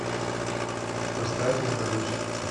поставь я молюсь